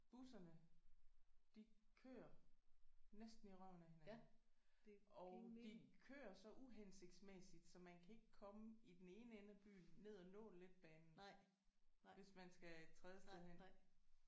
Busserne de kører næsten i røven af hinanden og de kører så uhensigtsmæssigt så man kan ikke komme i den ene ende af byen ned og nå letbanen hvis man skal et tredje sted hen